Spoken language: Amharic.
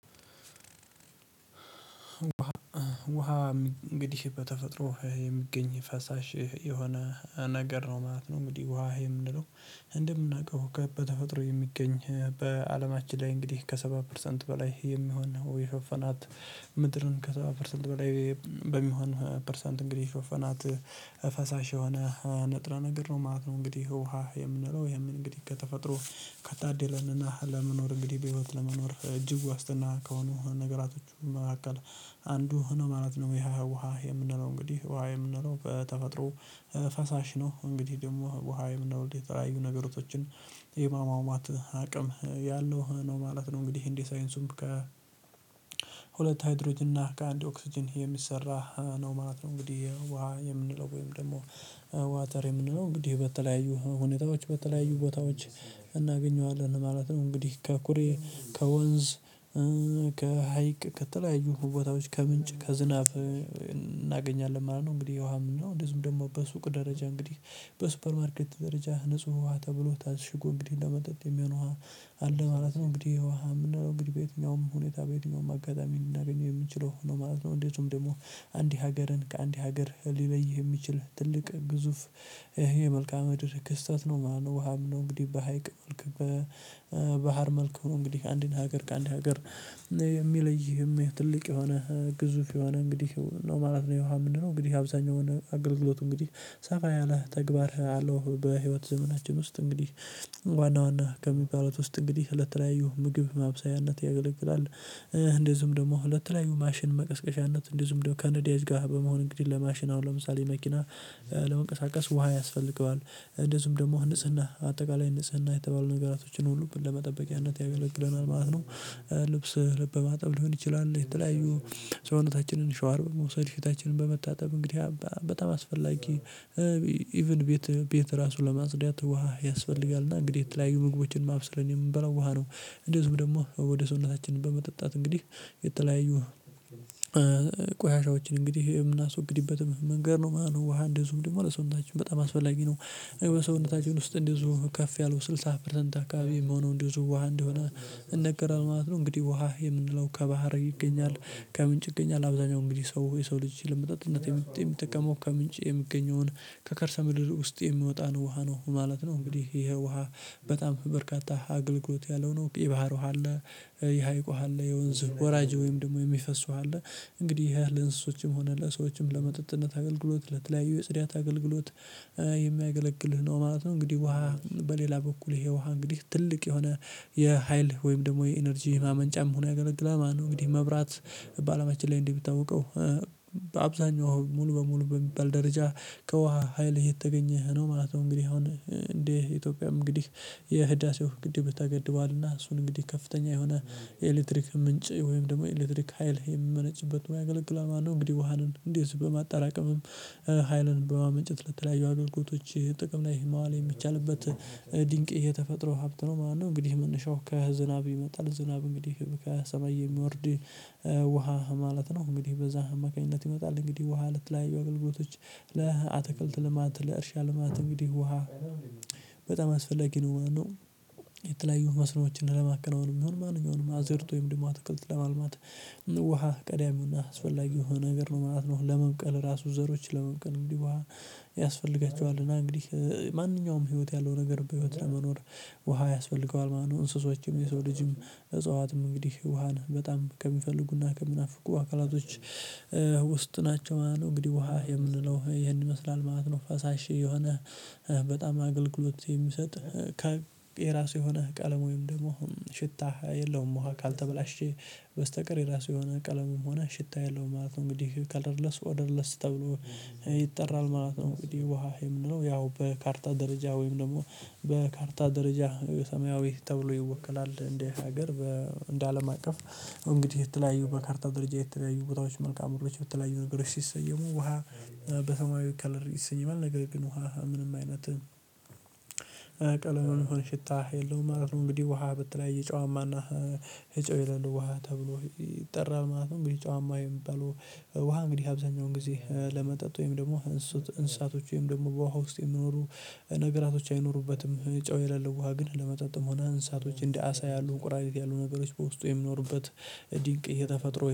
ውሃ እንግዲህ በተፈጥሮ የሚገኝ ፈሳሽ የሆነ ነገር ነው ማለት ነው። እንግዲህ ውሃ የምንለው እንደምናውቀው ከበተፈጥሮ የሚገኝ በአለማችን ላይ እንግዲህ ከ70 ፐርሰንት በላይ የሚሆን የሾፈናት ምድርን ከሰባ ፐርሰንት በላይ በሚሆን ፐርሰንት እንግዲህ ከፈናት ፈሳሽ የሆነ ነጥረ ነገር ነው ማለት ነው። እንግዲህ ውሃ የምንለው የምን እንግዲህ ተፈጥሮ ከታደለንና ለመኖር እንግዲህ በህይወት ለመኖር እጅግ ዋስትና ከሆኑ ነገራቶቹም አቀል አንዱ ማለት ነው። ይሄ ውሃ የምንለው እንግዲህ ውሃ የምንለው በተፈጥሮ ነው። እንግዲህ ደግሞ ውሃዬ ምናልባት የተለያዩ ነገሮችን የማሟሟት አቅም ያለው ነው ማለት ነው። እንግዲህ እንዴ ሳይንሱም ከ ከሁለት ሃይድሮጅ እና ከአንድ ኦክስጅን የሚሰራ ነው ማለት ነው። እንግዲህ ውሃ የምንለው ወይም ደግሞ ዋታር የምንለው እንግዲህ በተለያዩ ሁኔታዎች በተለያዩ ቦታዎች እናገኘዋለን ማለት ነው። እንግዲህ ከኩሬ ከወንዝ ከሀይቅ ከተለያዩ ቦታዎች ከምንጭ ከዝናብ እናገኛለን ማለት ነው። እንግዲህ ውሃ ምንለው ደግሞ በሱቅ ደረጃ እንግዲህ በሱፐር ማርኬት ደረጃ ንጹህ ውሃ ተብሎ ታስሽጎ እንግዲህ ለመጠጥ የሚሆነው ውሃ አለ ማለት ነው። እንግዲህ ውሃ ምንድነው እንግዲህ በየትኛውም ሁኔታ በየትኛውም አጋጣሚ ልናገኘው የምንችለው ነው ማለት ነው? እንዴትም ደግሞ አንድ ሀገርን ከአንድ ሀገር ሊለይህ የሚችል ትልቅ ግዙፍ ይሄ መልካ ምድር ክስተት ነው ማለት ነው። ውሃም ነው እንግዲህ በሀይቅ መልክ በባህር መልክ ነው እንግዲህ አንድን ሀገር ከአንድ ሀገር የሚለይህም ትልቅ የሆነ ግዙፍ የሆነ እንግዲህ ነው ማለት ነው። የውሃ የምንለው እንግዲህ አብዛኛው አገልግሎት እንግዲህ ሰፋ ያለ ተግባር አለው። በህይወት ዘመናችን ውስጥ እንግዲህ ዋና ዋና ከሚባሉት ውስጥ እንግዲህ ለተለያዩ ምግብ ማብሰያነት ያገለግላል። እንደዚሁም ደግሞ ለተለያዩ ማሽን መቀስቀሻነት እንደዚሁም ደግሞ ከነዲያጅ ጋር በመሆን እንግዲህ ለማሽን አሁን ለምሳሌ መኪና ለመንቀሳቀስ ውሃ ያስፈልገዋል እንደዚሁም ደግሞ ንጽህና አጠቃላይ ንጽህና የተባሉ ነገራቶችን ሁሉም ለመጠበቂያነት ያገለግለናል ማለት ነው። ልብስ በማጠብ ሊሆን ይችላል የተለያዩ ሰውነታችንን ሻወር በመውሰድ ፍታችንን በመታጠብ እንግዲህ በጣም አስፈላጊ ኢቭን ቤት ቤት ራሱ ለማጽዳት ውሃ ያስፈልጋል። እና እንግዲህ የተለያዩ ምግቦችን ማብሰል የምንበላው ውሃ ነው። እንደዚህ ደግሞ ወደ ሰውነታችን በመጠጣት እንግዲህ የተለያዩ ቆሻሻዎችን እንግዲህ የምናስወግድበትም መንገድ ነው ማለት ነው። ውሃ እንዲይዙም ደግሞ ለሰውነታችን በጣም አስፈላጊ ነው። የሰውነታችን ውስጥ እንዲይዙ ከፍ ያለው ስልሳ ፐርሰንት አካባቢ መሆኑን እንዲዝው ውሃ እንዲሆን ይነገራል ማለት ነው። እንግዲህ ውሃ የምንለው ከባህር ይገኛል ከምንጭ ይገኛል አብዛኛው እንግዲህ ሰው የሰው ልጅ ለመጠጥነት የሚጠቀመው ከምንጭ የሚገኘውን ከከርሰ ምድር ውስጥ የሚወጣ ነው ውሃ ነው ማለት ነው። እንግዲህ ይሄ ውሃ በጣም በርካታ አገልግሎት ያለው ነው። የባህሩ አለ የሀይቅ ውሃ አለ የወንዝ ወራጅ ወይም ደግሞ የሚፈሱ አለ። እንግዲህ ይሄ ለእንስሶችም ሆነ ለሰዎችም ለመጠጥነት አገልግሎት ለተለያዩ ለጽድያት አገልግሎት የማያገለግልህ ነው ማለት ነው። እንግዲህ ውሃ በሌላ በኩል ይሄ ውሃ እንግዲህ ትልቅ የሆነ የሀይል ወይም ደግሞ የኢነርጂ ማመንጫም ሆኖ ያገለግላል። ማነው እንግዲህ መብራት በአለማችን ላይ እንዲህ ብታውቀው አብዛኛው ሙሉ በሙሉ በሚባል ደረጃ ከውሃ ሀይል የተገኘህ ነው ማለት ነው። እንግዲህ አሁን እንዴ ኢትዮጵያ እንግዲህ የህዳሴው ግድብ ተገድቧልና እሱን እንግዲህ ከፍተኛ የሆነ የኤሌክትሪክ ምንጭ ወይም ደግሞ ኤሌክትሪክ ሀይል የምመነጭበት ሆኖ ያገለግላል። እንግዲህ ውሃንን እንዴዝ በማጠራቀምም ሀይልን በማመንጨት ለተለያዩ አግልግሎቶች ጥቅም ላይ ማዋል የሚቻልበት ድንቅ የተፈጥሮ ሀብት ነው ማለት ነው። እንግዲህ መነሻው ከዝናብ ይመጣል ዝናብ እንግዲህ ከሰማይ የሚወርድ ውሃ ማለት ነው። እንግዲህ በዛ አማካኝነት ይመጣል እንግዲህ ውሃ ልትላዩ አገልግሎቶች ለአትክልት ልማት ለእርሻ ልማት እንግዲህ ውሃ በጣም አስፈላጊ ነው። ማለት ነው መስኖዎችን ለማከናወን የሚሆን ማንኛውንም አዘርቶ ወይም ደግሞ አትክልት ለማልማት ውሃ ዳሚውና አስፈላጊው ነገር ነው ማለት ነው። ለመብቀል ራሱ ዘሮችን ለመብቀል እንግዲህ ውሃ ያስፈልጋቸዋል እና እንግዲህ ማንኛውም ህይወት ያለው ነገር በህይወት ለመኖር ውሃ ያስፈልገዋል ማለት ነው። እንስሶችም የሰው ልጅም እጽዋትም እንግዲህ ውሃን በጣም ከሚፈልጉና ከሚናፍቁ አካላቶች ውስጥ ናቸው ማለት ነው። እንግዲህ ውሃ የምንለው ይሄን ይመስላል ማለት ነው። ፈሳሽ የሆነ በጣም አገልግሎት የሚሰጥህ ከየራሱ የሆነህ ቀለም ወይም ደግሞ አሁን ሽታህ የለውም ውሃ ካልተበላሸ በስተቀር የራሱ የሆነ ቀለሙም ሆነ ሽታ የለውም ማለት ነው። እንግዲህ ከለረለስ ወደ ኦድርለስ ተብሎ ይጠራል ማለት ነው። እንግዲህ ውሃ የምንለው ያው በካርታ ደረጃ ወይም ደግሞ በካርታ ደረጃ የሰማያዊ ተብሎ ይወክላል። እንደ ሀገር በ እንዴ አለም አቀፍ እንግዲህ የተለያዩ በካርታ ደረጃ የተለያዩ ቦታዎች መልካም ሆነች የተለያዩ በተለያዩ ነገሮች ሲሰየሙ ውሃ በሰማያዊ ከለር ይሰየማል። ነገር ግን ውሃ ምንም አይነት ቀለምም ሆነ ሽታ የለውም ማለት ነው። እንግዲህ ውሃ በተለያየ ጨዋማና ጨው የለሌ ውሃ ተብሎ ይጠራል ማለት ነው። ግን ጨዋማ የሚባለው ውሃ እንግዲህ አብዛኛውን ጊዜ ለመጠጥ ወይም ደግሞ እንስሳቶች ወይም ደግሞ በውሃ ውስጥ የሚኖሩ ነገራቶች አይኖሩበትም ጨው የሌለው ውሃ ግን ለመጠጥም ሆነ አንሳቶች እንደ አሳ ያሉ ቁራሪት ያሉ ነበሮች በውስጡ የሚኖሩበት ድንቅ የተፈጥሮ